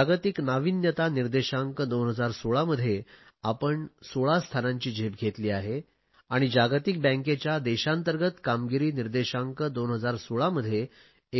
जागतिक नाविन्यता निर्देशांक 2016 मध्ये आपण 16 स्थानांची झेप घेतली आहे आणि जागतिक बँकेच्या देशांतर्गंत कामगिरी निर्देशांकांत 2016 मध्ये